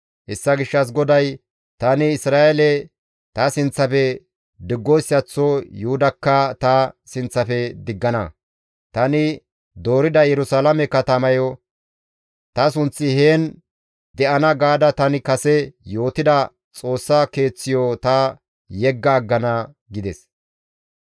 Hessa gishshas GODAY, «Tani Isra7eele ta sinththafe diggoyssaththo Yuhudakka ta sinththafe diggana; tani doorida Yerusalaame katamayo, ‹Ta sunththi heen de7ana› gaada tani kase yootida Xoossa keeththiyo ta yegga aggana» gides.